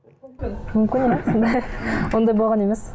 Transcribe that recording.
ондай болған емес